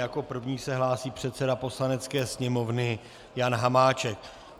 Jako první se hlásí předseda Poslanecké sněmovny Jan Hamáček.